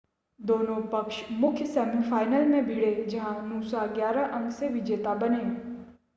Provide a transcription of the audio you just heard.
दोनों पक्ष मुख्य सेमीफ़ाइनल में भिड़े जहां नूसा 11 अंकों से विजेता बने